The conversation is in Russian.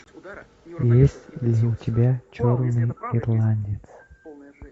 есть ли у тебя черный ирландец